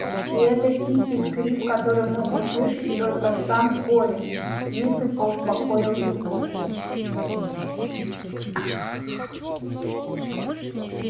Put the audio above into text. и этот тихий скрип который мог слышать только сам коля несколько успокоил его